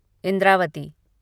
Indravati